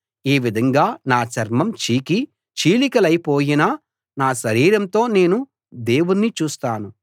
ఈ విధంగా నా చర్మం చీకి చీలికలైపోయినా నా శరీరంతో నేను దేవుణ్ణి చూస్తాను